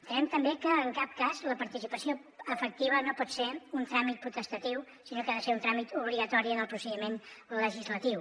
entenem també que en cap cas la participació efectiva no pot ser un tràmit potestatiu sinó que ha de ser un tràmit obligatori en el procediment legislatiu